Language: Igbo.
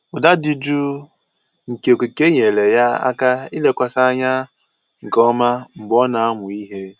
Ụda dị jụụ nke okike nyeere ya aka ilekwasị anya nke ọma mgbe ọ na-amụ ihe